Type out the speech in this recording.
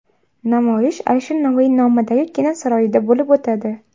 Namoyish Alisher Navoiy nomidagi Kino saroyida bo‘lib o‘tadi.